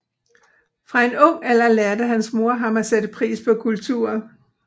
Fra en ung alder lærte hans mor ham at sætte pris på kultur